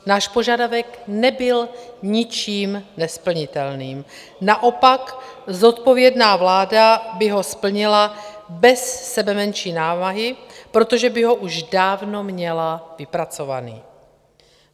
Náš požadavek nebyl ničím nesplnitelným, naopak zodpovědná vláda by ho splnila bez sebemenší námahy, protože by ho už dávno měla vypracovaný.